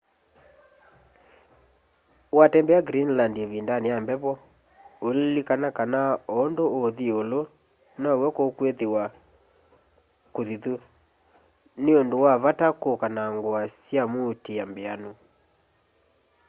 watembea greenland ivindani ya mbevo uililikana kana o undu uthi iulu now'o kukwithiwa kuthithu ni undu wa vata kuka na ngua sya muutia mbianu